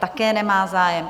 Také nemá zájem.